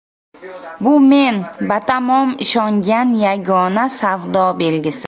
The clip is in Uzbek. Bu men batamom ishongan yagona savdo belgisi.